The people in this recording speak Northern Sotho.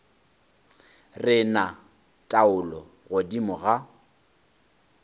re na taolo godimo ga